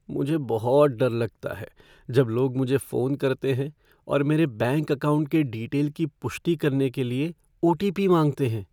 मुझे बहुत डर लगता है जब लोग मुझे फ़ोन करते हैं और मेरे बैंक अकाउंट के डीटेल की पुष्टि करने के लिए ओ.टी.पी. मांगते हैं।